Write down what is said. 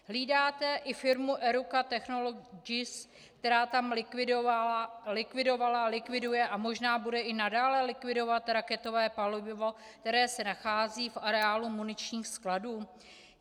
Hlídáte i firmu Eruca Technologies, která tam likvidovala, likviduje a možná bude i nadále likvidovat raketové palivo, které se nachází v areálu muničních skladů?